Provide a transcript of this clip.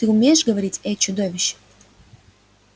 ты умеешь говорить эй чудовище